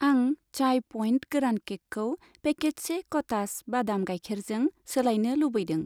आं चाय पइन्ट गोरान केकखौ पेकेटसे क'थास बादाम गाइखेरजों सोलायनो लुबैदों।